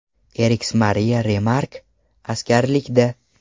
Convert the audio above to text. Erix Mariya Remark askarlikda.